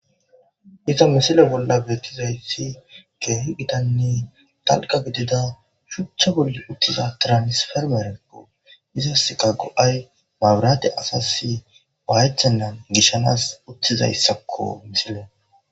Iza misile bolla beettizayssi geehi gidanni talqa gidida shuchcha bolli uttiza tiranisfermerekko izas ka go'ay maburaate asasi baychannan gishshanas uttizayssakko misile.